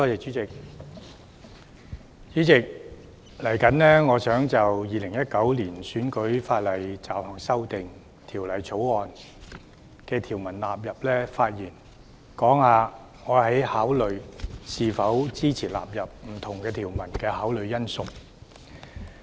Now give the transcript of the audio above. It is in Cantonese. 主席，我現在就《2019年選舉法例條例草案》發言，談談我考慮是否支持納入不同條文的因素。